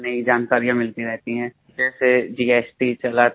नयीनयी जानकारियाँ मिलती रहती हैं जैसे जीएसटी चला